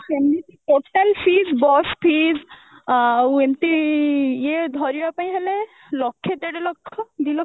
ସେମିତି total fees bus fees ଆଉ ଏମତି ଇଏ ଧରିବା ପାଇଁ ହେଲେ ଲକ୍ଷେ ଦେଢ ଲକ୍ଷ ଦି ଲକ୍ଷ